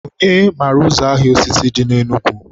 onye mara ụzọ ahịa osisi dị na Enugu?